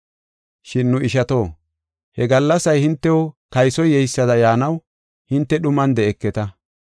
Shin nu ishato, he gallasay hintew kaysoy yeysada yaanaw hinte dhuman de7eketa.